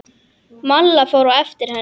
Malla fór á eftir henni.